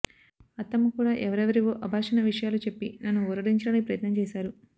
అత్తమ్మ కూడా ఎవరెవరివో అబార్షణ విషయాలు చెప్పి నన్ను ఊరడించడానికి ప్రయత్నం చేశారు